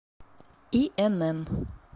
инн